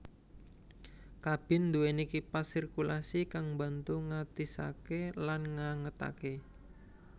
Kabin duweni kipas sirkulasi kang mbantu ngatisake lan ngangetake